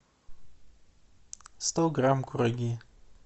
сто грамм кураги